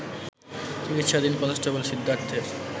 চিকিৎসাধীন কনস্টেবল সিদ্ধার্থের